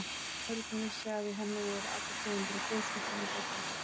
Örn vissi að í henni voru allar tegundir af gosi og sælgæti.